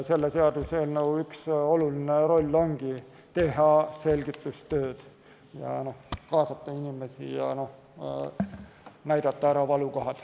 Selle seaduseelnõu üks olulisi rolle ongi teha selgitustööd, kaasata inimesi ja näidata ära valukohad.